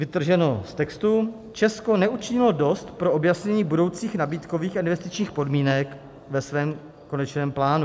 Vytrženo z textu - Česko neučinilo dost pro objasnění budoucích nabídkových a investičních podmínek ve svém konečném plánu.